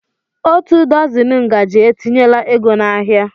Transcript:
Otu dọzini ngaji etinyela ego n'ahịa